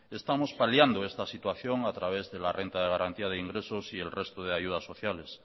estamos paliando esta situación a través de la renta de garantía de ingresos y el resto de ayudas sociales